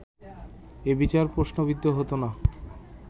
এই বিচার প্রশ্নবিদ্ধ হতো না